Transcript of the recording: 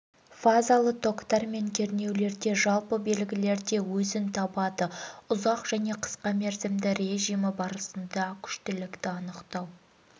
фазалы токтар мен кернеулерде жалпы белгілерде өзін табады ұзақ және қысқа мерзімді режимі барысында күштілікті анықтау